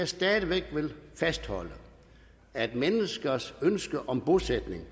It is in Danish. stadig væk fastholde at menneskers ønske om bosætning